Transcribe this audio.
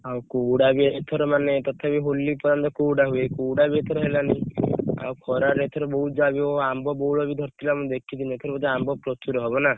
ଆଉ କୁହୁଡା ବି ଏଥର ମାନେ ତଥାପି ହୋଲି ପର୍ଯ୍ୟନ୍ତ କୁହୁଡା ହୁଏ କୁହୁଡା ବି ଏଥର ହେଲାଣି ଖରା ରେ ଏଥର ବହୁତ ଆମ୍ବ ବଉଳ ଧରି ଥିଲା ମୁଁ ଦେଖିଛି ଏଥର ଆମ୍ବ ବୋଧେ ପ୍ରଚୁର ହବ ନା